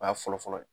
O y'a fɔlɔfɔlɔ ye